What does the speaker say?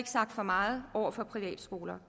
sagt for meget over for privatskoler